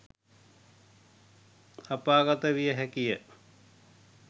අපාගත විය හැකිය